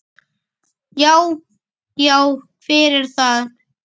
Já. já, hver er þar?